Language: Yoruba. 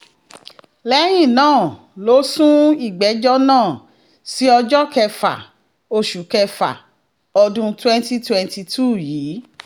lẹ́yìn náà ló sún ìgbẹ́jọ́ náà sí ọjọ́ kẹfà oṣù kẹfà ọdún twenty twenty two yìí